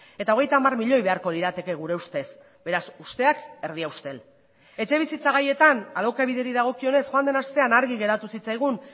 eta hogeita hamar milioi beharko lirateke gure ustez beraz usteak erdi ustel etxebizitza gaietan alokabideri dagokionez joan den astean argi geratu zitzaigun